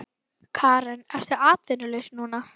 Karen: Ertu atvinnulaus núna?